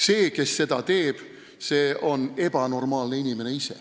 See, kes seda teeb, on ise ebanormaalne inimene.